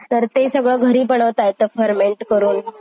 आणि college चा part is the best part of my life what about you?